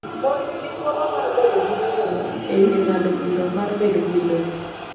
Mon nigi thuolo mar bedo gi ng’eyo e wi ng’ado bura mar bedo gi lowo.